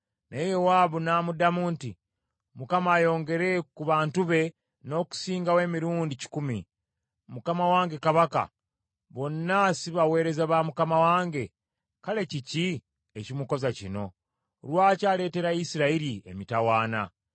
Naye Yowaabu n’amuddamu nti, “ Mukama ayongere ku bantu be, n’okusingawo emirundi kikumi. Mukama wange kabaka, bonna si baweereza ba mukama wange, kale kiki ekimukoza kino? Lwaki aleetera Isirayiri emitawaana?”